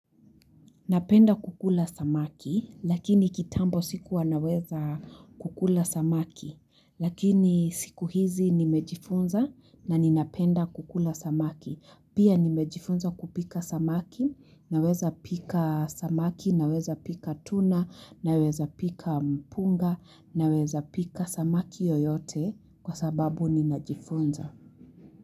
Napenda kukula samaki lakini kitambo sikuwa naweza kukula samaki lakini sikuhizi nimejifunza na ninapenda kukula samaki. Pia nimejifunza kupika samaki, naweza pika samaki, naweza pika tuna, naweza pika mpunga, naweza pika samaki yoyote kwa sababu ninajifunza.